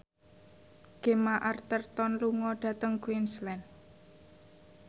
Gemma Arterton lunga dhateng Queensland